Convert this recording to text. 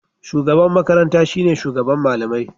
shugaban makaranta shine shugaban malamai